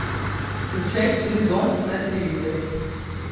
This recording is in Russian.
включай теледом на телевизоре